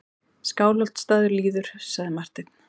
Skálholtsstaður líður, sagði Marteinn.